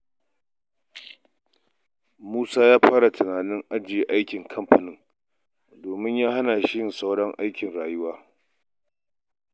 Musa ya fara tunanin ajiye aikin kamfanin domin ya hana shi yin sauran harkokin rayuwa.